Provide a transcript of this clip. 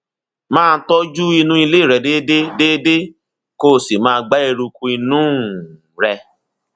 máa tọjú inú ilé rẹ déédéé déédéé kó o sì máa gbá eruku inú um rẹ